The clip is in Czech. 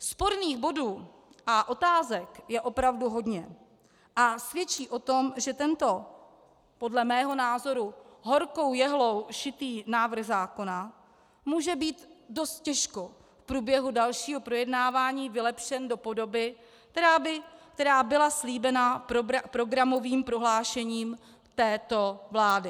Sporných bodů a otázek je opravdu hodně a svědčí o tom, že tento podle mého názoru horkou jehlou šitý návrh zákona může být dost těžko v průběhu dalšího projednávání vylepšen do podoby, která byla slíbena programovým prohlášením této vlády.